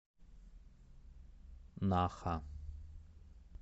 наха